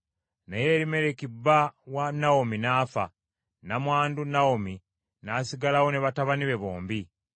Naye Erimereki bba wa Nawomi n’afa; nnamwandu Nawomi n’asigalawo ne batabani be bombi.